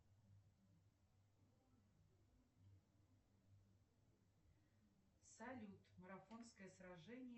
афина валюта бангладеш